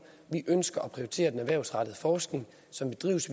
vi ønsker at prioritere den erhvervsrettede forskning som bedrives